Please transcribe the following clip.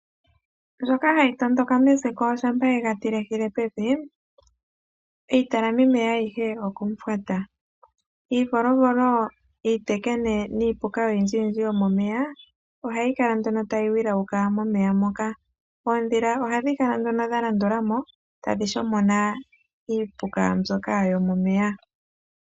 Ndjoka hayi tondoka meziko shampa ye ga tilehile pevi, iitalamimeya ayihe okomufwata. Iivolovolo, iitekene niipuka oyindjiyindji yomomeya ohayi kala nduno tayi wilauka momeya moka. Oondhila ohadhi kala nduno dha landula mo, tadhi shomona iipuka mbyoka yomomeya.